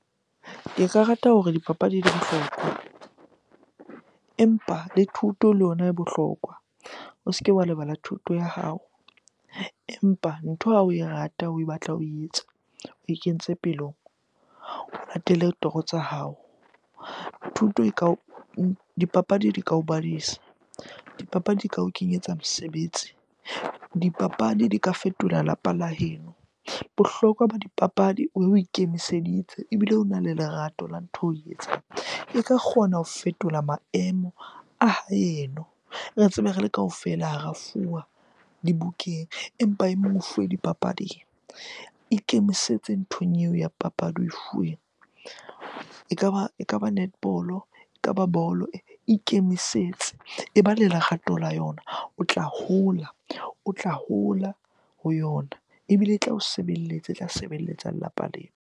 Ke ka rata hore dipapadi di bohlokwa empa le thuto le ona e bohlokwa. O se ke wa lebala thuto ya hao empa ntho ha oe rata, o batla ho e etsa, oe kentse pelong, o latele toro tsa hao. Thuto e ka dipapadi di ka o dipapadi di ka o kenyetsa mosebetsi, dipapadi di ka fetola lapa la heno. Bohlokwa ba dipapadi o ikemiseditse ebile ona le lerato la ntho oe etsang, e ka kgona ho fetola maemo a haeno. Tsebe re le kaofela ha ra fuwa dibukeng empa e mong o fuwe dipapading. Ikemisetse nthong eo ya papadi oe fuweng ekaba netball-o, ekaba bolo, ikemisetse. E ba le lerato la yona. O tla hola, o tla hola ho yona ebile e tla o sebelletsa, e tla sebeletsa lelapa leo.